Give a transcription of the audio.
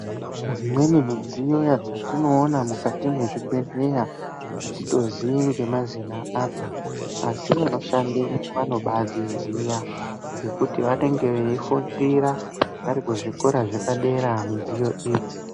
Dzimweni midziyo dzatinoona mukati mezvibhedhlera atitozii nemazina adzo asi vanoshandamo vanobadziziya ngekuti vanenge veifundira vari kuzvikora zvepadera midziyo idzi.